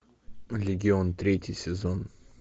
легион третий сезон